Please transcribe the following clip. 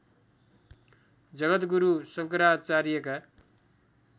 जगद्गुरु शङ्कराचार्यका